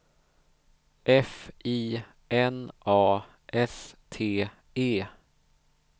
F I N A S T E